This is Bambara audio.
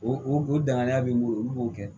O o o danganiya b'i bolo olu b'o kɛ